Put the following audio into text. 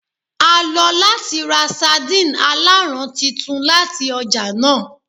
A lo lati ra sardine alaran titun lati ọja naa